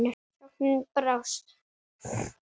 Sóknin brást.